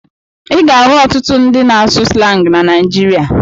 Ị ga-ahụ ọtụtụ ndị na-asụ slangị na Naịjirịa.